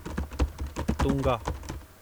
Tunga